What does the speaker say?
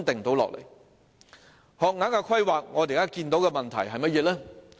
在學額規劃方面，我們所見到的問題是甚麼呢？